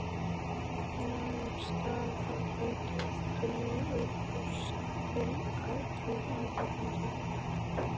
Nam staðar í gættinni og brosti til áhorfandans.